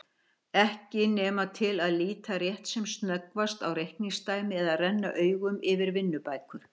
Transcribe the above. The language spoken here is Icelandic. Ekki nema til að líta rétt sem snöggvast á reikningsdæmi eða renna augunum yfir vinnubækur.